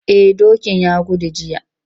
Eh dokin ya gudu jiya.